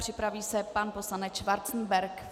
Připraví se pan poslanec Schwarzenberg.